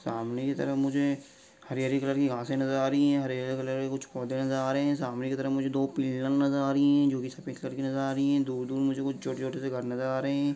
सामने की तरफ मुझे हरी-हरी कलर की घासे नज़र आ रही हैं हरे-हरे कलर के कुछ पोधे नज़र आ रहे हैं सामने के तरफ मुझे दो पिलर नज़र आ रही है जो की सफ़ेद कलर की नज़र आ रही है दूर-दूर मुझे कुछ छोटे-छोटे से घर नज़र आ रहे हैं।